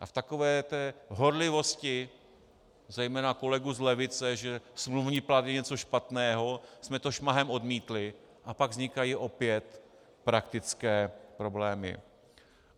A v takové té horlivosti zejména kolegů z levice, že smluvní plat je něco špatného, jsme to šmahem odmítli, a pak vznikají opět praktické problémy.